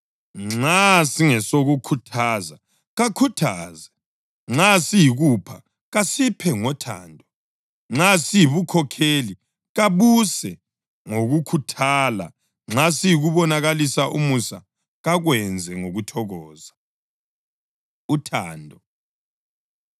nxa singesokukhuthaza, kakhuthaze; nxa siyikupha, kasiphe ngothando; nxa siyibukhokheli, kabuse ngokukhuthala; nxa siyikubonakalisa umusa, kakwenze ngokuthokoza. Uthando